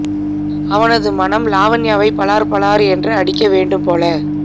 அவனது மனம் லாவண்யாவை பளார் பளார் என்று அடிக்க வேண்டும் போல